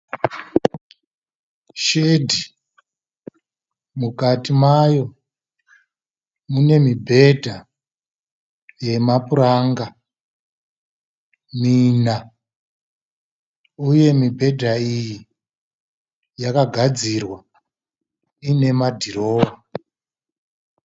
Shedhi, mukati mayo mune mibhedha yemapuranga mina, uye mibhedha iyi yakagadzirwa ine madrawer.